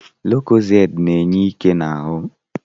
Lukozedi na-enye ike n'ahụ